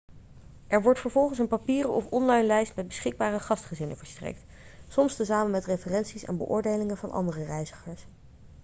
er wordt vervolgens een papieren of online lijst met beschikbare gastgezinnen verstrekt soms tezamen met referenties en beoordelingen van andere reizigers